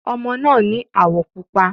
Ọmọ náà ni áwọ̀ pupa.